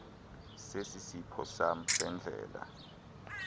sesiphoso sam sendlela